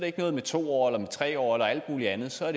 ikke noget med to år eller med tre år eller alt muligt andet så er